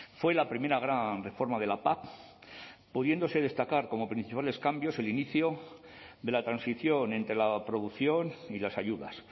fue la primera gran reforma de la pac pudiéndose destacar como principales cambios el inicio de la transición entre la producción y las ayudas